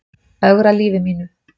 Ögra lífi mínu.